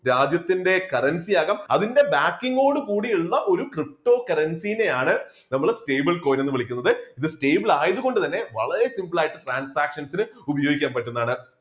രാജ്യത്തിൻറെ currency ആകാം അതിൻറെ backing ഓട് കൂടിയുള്ള ഒരു ptocurrency നെ ആണ് നമ്മള് stable coin എന്ന് വിളിക്കുന്നത്. stable ആയതുകൊണ്ട് തന്നെ വളരെ simple ആയിട്ട് transaction ന് ഉപയോഗിക്കാൻ പറ്റുന്നതാണ്.